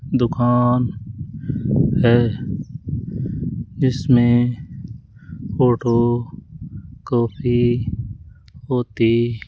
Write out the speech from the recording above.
दुकान है जिसमें फोटो कॉपी होती --